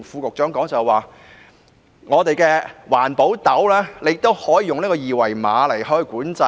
我想說的，是環保斗車也可以用二維碼來管制。